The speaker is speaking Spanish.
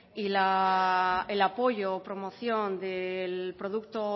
y el apoyo o promoción del producto